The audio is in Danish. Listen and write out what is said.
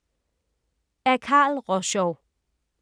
Af Carl Rosschou